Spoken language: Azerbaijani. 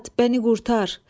Məni qurtar!